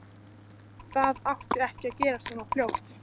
Það átti ekki að gerast svona fljótt.